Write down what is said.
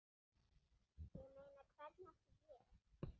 Ég meina, hvernig átti ég?